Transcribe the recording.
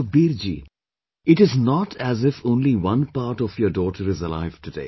Sukhbir ji, it is not as if only one part of your daughter is alive today